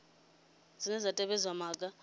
cbnrm dzine dza tevhedza maga